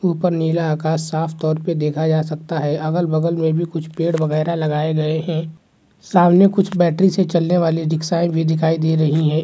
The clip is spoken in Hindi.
ऊपर नीला आकाश साफ तौर पे देखा जा सकता है अगल-बगल में भी कुछ पेड़ वगेरा लगाए गए हैं। सामने कुछ बैटरी से चलने वाली रिक्शाए भी दिखाई दे रही हैं।